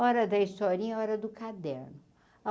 Hora da historinha, hora do caderno.